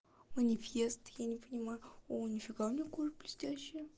манифест я не понимаю о нифига у неё кожа блестящая